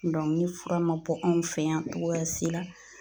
ni fura ma bɔ anw fɛ yan cogoya si la